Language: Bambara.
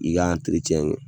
I k'a kɛ